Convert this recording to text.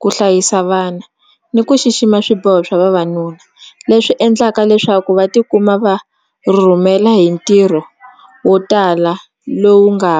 ku hlayisa vana ni ku xixima swiboho swa vavanuna leswi endlaka leswaku va tikuma va rhurhumela hi ntirho wo tala lowu nga .